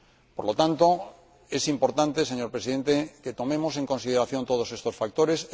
Por lo tanto, es importante, señor Presidente, que tomemos en consideración todos estos factores